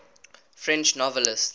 french novelists